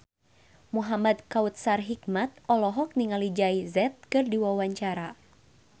Muhamad Kautsar Hikmat olohok ningali Jay Z keur diwawancara